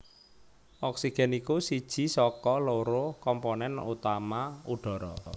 Oksigen iku siji saka loro komponen utama udhara